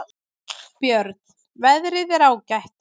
Björn: Veðrið er ágætt.